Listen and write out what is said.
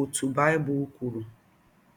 ọtụ Baịbụl kwụrụ.